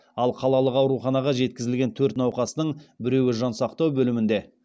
ал қалалық ауруханаға жеткізілген төрт науқастың біреуі жансақтау бөлімінде